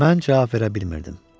Mən cavab verə bilmirdim.